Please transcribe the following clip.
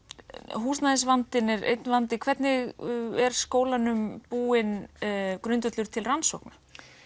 húsnæðisvandinn er einn vandi hvernig er skólanum búinn grundvöllur til rannsókna